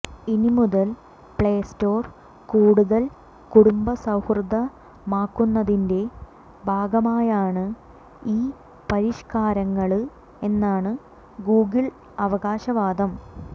ഇനി മുതൽ Play Store കൂടുതൽ കുടുംബ സൌഹൃദമാക്കുന്നതിന്റെ ഭാഗമായാണ് ഈ പരിഷ്കാരങ്ങള് എന്നാണ് ഗൂഗിൾ അവകാശവാദം